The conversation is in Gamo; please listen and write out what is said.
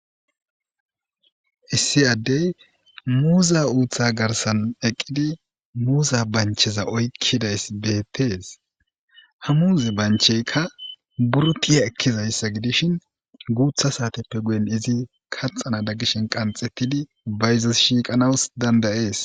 Issi adey muze haytheza garsan eqidi muza bancheza oykidays betes ha muze bancheyka nuro tiya ekizaysa gidishin gutha satepe guye eti kaxanada gishe qanxetidi bayzos shiqanas danda'es